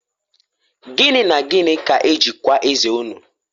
Gini na Gini ka eji kwaa eze unu?